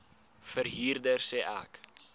verhuurder sê ek